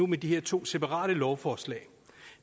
med de her to separate lovforslag